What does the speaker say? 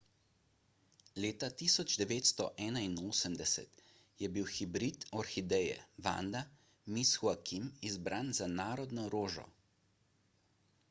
leta 1981 je bil hibrid orhideje vanda miss joaquim izbran za narodno rožo